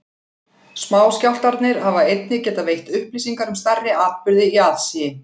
Smáskjálftarnir hafa einnig getað veitt upplýsingar um stærri atburði í aðsigi.